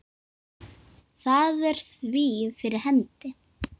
Það er því fyrir hendi.